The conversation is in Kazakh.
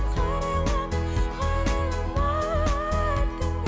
қарайлама қарайлама артыңа